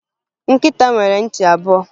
Nkịta nwere ntị abụọ